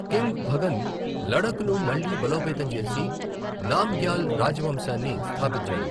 King Bhagan లడఖ్ను మళ్లీ బలోపేతం చేసి, నామ్ గ్యాల్ రాజవంశాన్ని స్థాపించాడు.